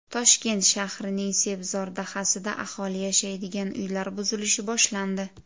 Toshkent shahrining Sebzor dahasida aholi yashaydigan uylar buzilishi boshlandi.